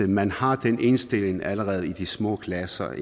man har den indstilling allerede i de små klasser